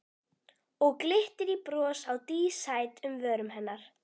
Og glittir í bros á dísæt um vörum hennar.